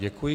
Děkuji.